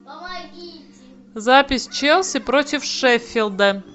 запись челси против шеффилда